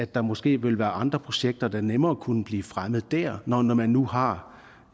der måske vil være andre projekter der nemmere kunne blive fremmet der når når man nu har